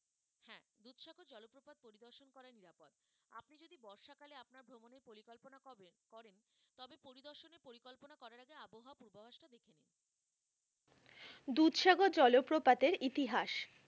দুধসাগর জলপ্রপাতের ইতিহাস,